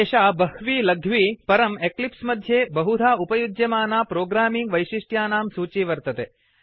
एषा बह्वी लघ्वी परं एक्लिप्स् मध्ये बहुधा उपयुज्यमाना प्रोग्रामिंग् वैशिष्ट्यानां सूची वर्तते